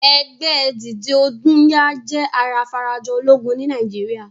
Ẹgbẹ́ dìde ogún yá jẹ́ ara afarajọ ológun ní Nàìjíríà.